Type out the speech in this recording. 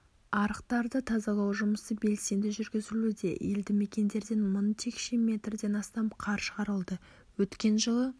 арықтарды тазалау жұмысы белсенді жүргізілуде елді мекендерден мың текше мертден астам қар шығарылды өткен жылы